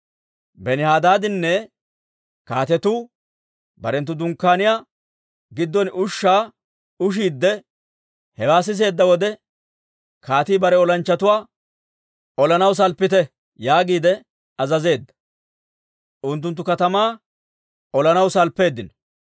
Benihadaadinne kaatetuu, barenttu dunkkaaniyaa giddon ushshaa ushiidde hewaa siseedda wode, kaatii bare olanchchatuwaa, «Olanaw salppite» yaagiide azazeedda. Unttunttu katamaa olanaw salppeeddino.